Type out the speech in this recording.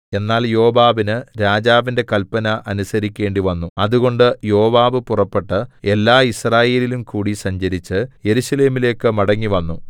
എന്നാൽ യോവാബിന് രാജാവിന്റെ കല്പന അനുസരിക്കേണ്ടിവന്നു അതുകൊണ്ട് യോവാബ് പുറപ്പെട്ടു എല്ലായിസ്രായേലിലുംകൂടി സഞ്ചരിച്ച് യെരൂശലേമിലേക്കു മടങ്ങിവന്നു